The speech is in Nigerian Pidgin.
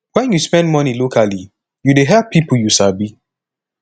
wen yu spend money locally yu dey help pipo yu sabi